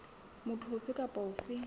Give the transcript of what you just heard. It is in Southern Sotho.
motho ofe kapa ofe a